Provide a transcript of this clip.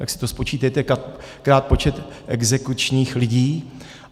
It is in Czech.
Tak si to spočítejte, krát počet exekučních lidí.